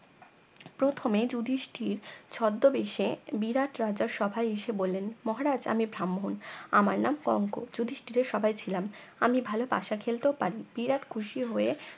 প্রথমে যুধিষ্টির ছদ্মবেশে বিরাট রাজার সভায় এসে বললেন মহারাজ আমি ব্রাহ্মন আমার নাম কঙ্ক যুধিষ্টিরের সভায় ছিলাম আমি ভালো পাশা খেলতেও পারি বিরাট খুশি হয়ে